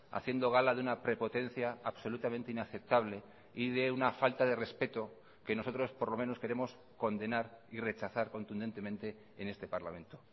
haciendo gala de una prepotencia absolutamente inaceptable y de una falta de respeto que nosotros por lo menos queremos condenar y rechazar contundentemente en este parlamento